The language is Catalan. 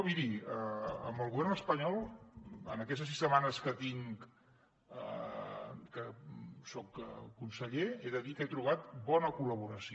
miri amb el govern espanyol en aquestes sis setmanes que fa que soc conseller he de dir que he trobat bona col·laboració